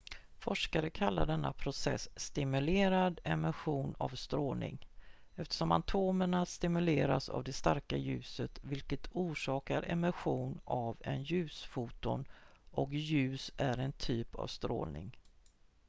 "forskare kallar denna process "stimulerad emission av strålning" eftersom atomerna stimuleras av det starka ljuset vilket orsakar emission av en ljusfoton och ljus är en typ av strålning.